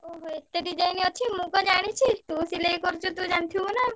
ଓହୋ! ଏତେ design ଅଛି, ମୁଁ କଣ ଜାଣିଚି ତୁ ସିଲେଇ କରୁଚୁ ତୁ ଜାଣିଥିବୁ ନା।